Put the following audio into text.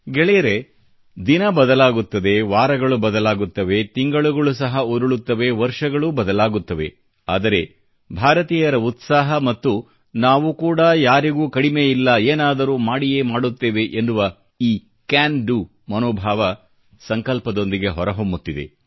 ಗೆಳೆಯರೇ ದಿನ ಬದಲಾಗುತ್ತದೆ ವಾರಗಳು ಬದಲಾಗುತ್ತವೆ ತಿಂಗಳುಗಳು ಸಹ ಉರುಳುತ್ತವೆ ವರ್ಷಗಳೂ ಬದಲಾಗುತ್ತವೆ ಆದರೆ ಭಾರತೀಯರ ಉತ್ಸಾಹ ಮತ್ತು ನಾವು ಕೂಡ ಯಾರಿಗೂ ಕಡಿಮೆಯಿಲ್ಲ ಏನಾದರೂ ಮಾಡಿಯೇ ಮಾಡುತ್ತೇವೆ ಎನ್ನುವ ಈ ಕ್ಯಾನ್ ಡಿಒ ಮನೋಭಾವ ಸಂಕಲ್ಪದೊಂದಿಗೆ ಹೊರಹೊಮ್ಮುತ್ತಿದೆ